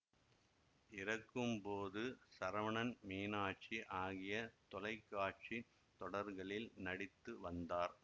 இறக்கும் போது சரவணன் மீனாட்சி ஆகிய தொலை காட்சி தொடர்களில் நடித்து வந்தார்